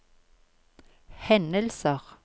hendelser